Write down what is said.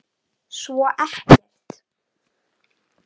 Svo ekkert.